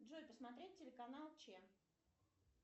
джой посмотреть телеканал че